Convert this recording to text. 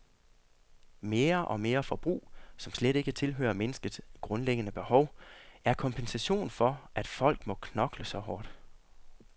Mere og mere forbrug, som slet ikke tilhører mennesket grundlæggende behov, er kompensation for, at folk må knokle så hårdt.